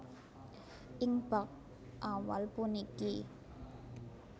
Ing bab awal puniki